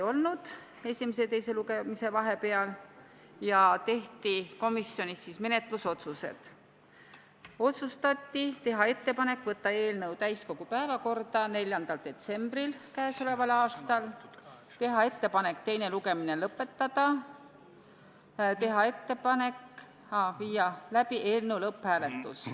Komisjonis tehti järgmised menetlusotsused: otsustati teha ettepanek võtta eelnõu täiskogu päevakorda k.a 4. detsembril, teha ettepanek teine lugemine lõpetada ning teha ettepanek viia läbi eelnõu lõpphääletus.